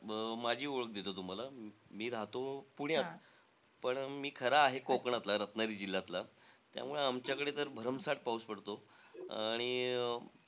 अं माझी ओळख देतो तुम्हाला. मी राहतो पुण्यात पण मी खरा आहे कोकणातला, रत्नागिरी जिल्ह्यातला. त्यामुळे आमच्याकडे तर भरमसाठ पाऊस पडतो. आणि अं